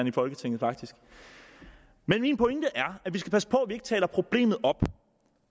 i folketinget men min pointe er at vi skal passe på at ikke taler problemet op